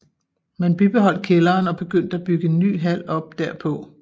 Man bibeholdt kælderen og begyndte at bygge en ny hal op derpå